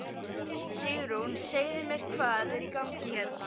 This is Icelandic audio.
Sigrún segðu mér hvað er í gangi hérna?